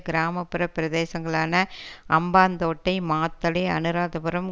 கிராம புற பிரதேசங்களான அம்பாந்தோட்டை மாத்தளை அனுராதபுறம்